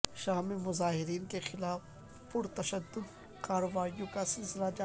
شام میں مظاہرین کے خلاف پر تشدد کارروائیوں کا سلسلہ جاری